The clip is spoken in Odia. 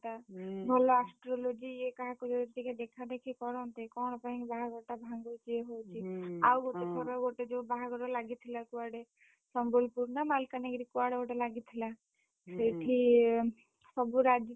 ହଅନ୍ତା ଭଲ astrology ଇଏ କାହାକୁ ଯଦି ଟିକେ ଦେଖାନ୍ତେ କି କଣ କରନ୍ତେ କଣ ପାଇଁ ବାହାଘର ଟା ଭାଙ୍ଗୁଛି ଇଏ ହଉଛି ଗୋଟେ ଥର ଗୋଟେ ଯୋଉ ବାହାଘର ଲାଗିଥିଲା କୁଆଡେ, ସମ୍ବଲପୁର ନା ମାଲକାନଗିରି, କୁଆଡେ ଗୋଟେ ଲାଗିଥିଲା। ସେଠି, ସବୁ ରାଜି।